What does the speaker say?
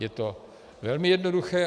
Je to velmi jednoduché.